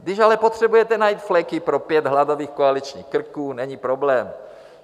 Když ale potřebujete najít fleky pro pět hladových koaličních krků, není problém.